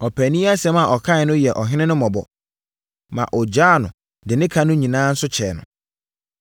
Ɔpaani yi asɛm a ɔkaeɛ no yɛɛ ɔhene no mmɔbɔ, ma ɔgyaa no de ne ka no nyinaa nso kyɛɛ no.